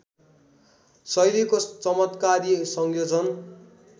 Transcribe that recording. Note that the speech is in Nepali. शैलीको चमत्कारी संयोजन